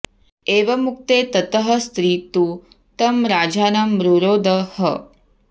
एवमुक्ते ततः स्त्री तु तं राजानं रुरोध ह